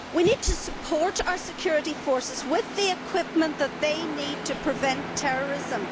We need to support our security forces with the equipment they need to prevent terrorism.